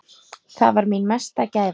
Það var mín mesta gæfa.